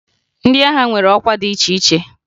Ndị agha nwere ọkwa dị iche iche